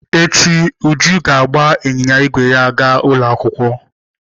Echi, Uju ga-agba ịnyịnya ígwè ya gaa ụlọ akwụkwọ.